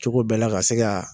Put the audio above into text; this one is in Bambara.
Cogo bɛɛ la ka se ka.